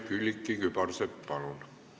Külliki Kübarsepp, palun!